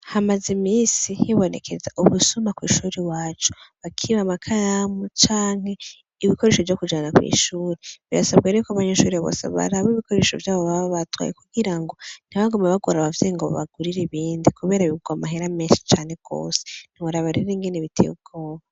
Hamaze iminsi hibonekeza ubusuma kw'ishure iwacu. Bakiba amakaramu canke ibikoresho vyo kujana kw'ishure. Bisabwa rero ko abanyeshure bose baraba ibikoresho vyabo baba batwaye kugira ngo ntibagume bagora abavyeyi ngo baabgurire ibindi kubera bigugwa amahera menshi cane gose. Ntiworaba rero ingene biteye ubwoba.